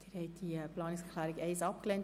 Sie haben diese Planungserklärung abgelehnt.